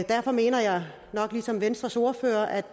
derfor mener jeg nok ligesom venstres ordfører at